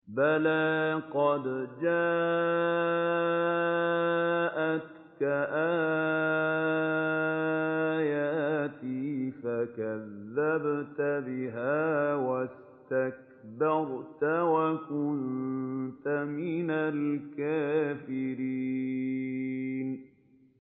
بَلَىٰ قَدْ جَاءَتْكَ آيَاتِي فَكَذَّبْتَ بِهَا وَاسْتَكْبَرْتَ وَكُنتَ مِنَ الْكَافِرِينَ